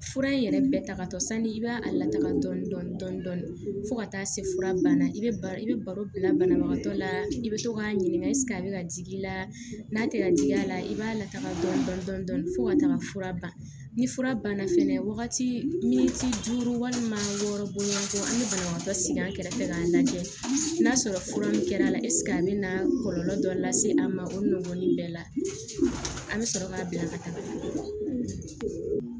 Fura in yɛrɛ bɛɛ ta katɔ sani i b'a lataga dɔɔni dɔɔni fo ka taa se fura banna i bɛ ba i bɛ baro bila banabagatɔ la i bɛ to k'a ɲininga a bɛ ka jigi i la n'a kɛra jigiya la i b'a lataga dɔn fo ka taga fura ban ni fura banna fɛnɛ wagati min walima wɔɔrɔ bonyantɔ an bɛ banabagatɔ sigi an kɛrɛfɛ k'a lajɛ n'a sɔrɔ fura min kɛra a bɛ na kɔlɔlɔ dɔ lase a ma o nɔɔni bɛɛ la a bɛ sɔrɔ k'a bila ka taga